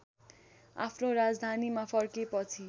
आफ्नो राजधानीमा फर्केपछि